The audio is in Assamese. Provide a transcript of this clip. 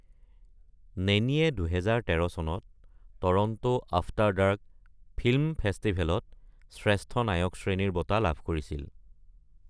নেনীয়ে ২০১৩ চনত টৰন্টো আফ্টাৰ ডাৰ্ক ফিল্ম ফেষ্টিভেলত শ্ৰেষ্ঠ নায়ক শ্ৰেণীৰ বঁটা লাভ কৰিছিল।